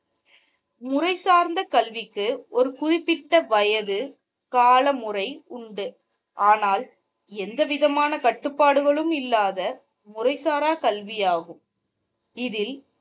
முறைசார்ந்த கல்விக்கு ஒரு குறிப்பிட்ட வயது காலமுறை உண்டு ஆனால் எந்த விதமான கட்டுப்பாடுகளும் இல்லாத முறைசாரா கல்வியாகும். இதில்,